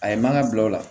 A ye mana bila o la